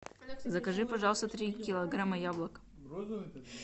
закажи пожалуйста три килограмма яблок